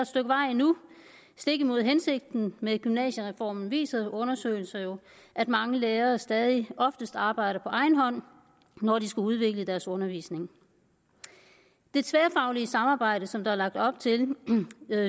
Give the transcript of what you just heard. stykke vej endnu stik imod hensigten med gymnasiereformen viser undersøgelser jo at mange lærere stadig oftest arbejder på egen hånd når de skal udvikle deres undervisning det tværfaglige samarbejde som der er lagt op til